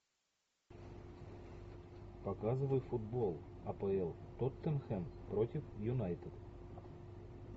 показывай футбол апл тоттенхэм против юнайтед